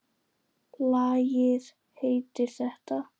Lagið heitir þetta.